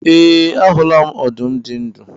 E, ahula m ọdụm dị ndụ.